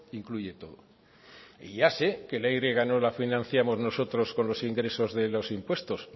incluye todo y ya sé que la y no la financiamos nosotros con los ingresos de los impuestos